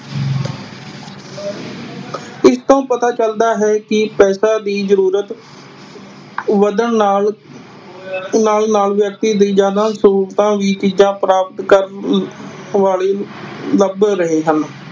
ਇਸ ਤੋਂ ਪਤਾ ਚਲਦਾ ਹੈ ਕਿ ਪੈਸੇ ਵੀ ਜਰੂਰਤ ਵਧਣ ਨਾਲ ਨਾਲ ਨਾਲ ਵਿਅਕਤੀ ਦੀ ਜਾਂਦਾ ਜਰੂਰਤਾਂ ਵੀ ਪ੍ਰਾਪਤ ਕਰਨ ਵਾਲੀ ਰਹੇ ਹਨ।